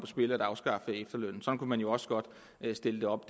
spil at afskaffe efterlønnen sådan kunne man jo også godt stille det op